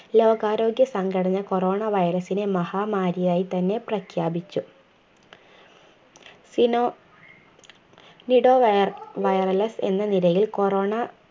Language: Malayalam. ലോകാരോഗ്യ സംഘടന coronavirus നെ മഹാമാരിയായി തന്നെ പ്രഖ്യാപിച്ചു സിനോ നിടോ വൈയറ വൈറലസ് എന്ന നിരയിൽ corona